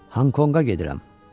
Honkonqa gedirəm.